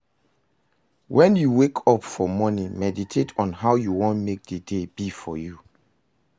When you wake up for morning meditate on how you won make di day be for you